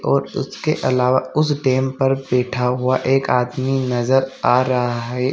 और उसके अलावा उस डैम पर बैठा हुआ एक आदमी नजर आ रहा है।